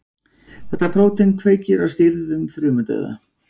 Þetta prótín kveikir á stýrðum frumudauða.